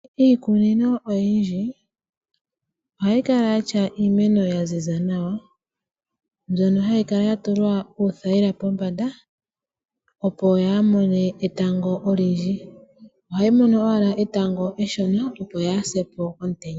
Iikunino oyindji, ohayi kala ya tya iimeno ya ziza nawa, mbyono hayi kala ya tulwa uuthaila pombanda, opo yea mone etango olindji , ohayi mono owala etango eshona, opo yaa se po komutenya.